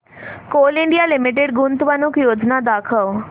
Coal India limited गुंतवणूक योजना दाखव